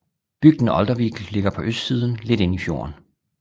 Bygden Oldervik ligger på østsiden lidt inde i fjorden